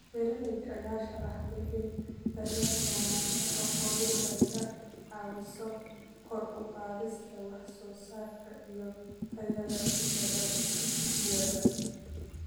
Beeralayda ayaa sharaxay in daryeelka wanaagsan ee xooluhu ay ka caawiso kor u qaadista wax soo saarka iyo tayada dalagyada.